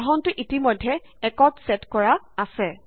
বাঢ়নটো ইতিমেধ্য 1 ত ছেট কৰা আছে